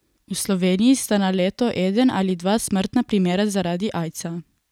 V Sloveniji sta na leto eden ali dva smrtna primera zaradi aidsa.